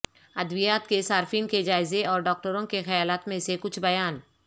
ادویات کے صارفین کے جائزے اور ڈاکٹروں کے خیالات میں سے کچھ بیان